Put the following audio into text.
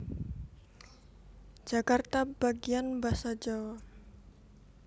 Jakarta Bagian Basa Djawa